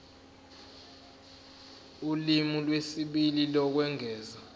ulimi lwesibili lokwengeza